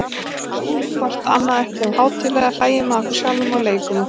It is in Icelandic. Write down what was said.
Tökum hvort annað ekki of hátíðlega, hlæjum að okkur sjálfum og leikum okkur.